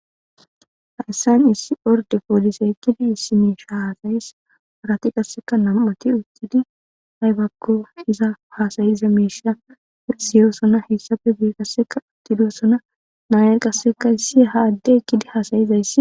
Ha essan issi orde poolise ekkidi issi meesha haasayis harati qasseka nam7oti uttidi haybakko iza hasayiza meesha esiyoossona hessafe biikasseka uttidossona naayer qasseka issi ha adde ekkidi haasayizayssi.